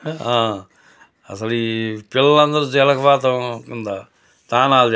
ఆ అసలి ఈ పిల్లలు అందరూ జలపాతం కింద తానాలు --